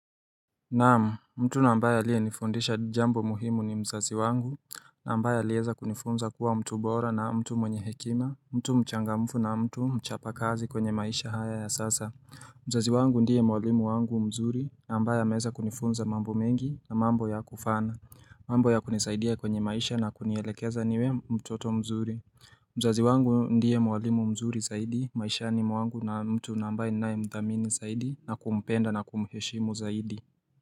Naam, mtu nambaye aliyenifundisha jambo muhimu ni mzazi wangu ambaye aliweza kunifunza kuwa mtu bora na mtu mwenye hekima, mtu mchangamfu na mtu mchapa kazi, kwenye maisha haya ya sasa mzazi wangu ndiye mwalimu wangu mzuri, ambaye ameweza kunifunza mambo mengi, na mambo ya kufana. Mambo ya kunisaidia kwenye maisha na kunielekeza niwe mtoto mzuri mzazi wangu ndiye mwalimu mzuri zaidi, maishani mwangu na mtu ambaye ninaye mdhamini zaidi, na kumpenda na kumheshimu zaidi.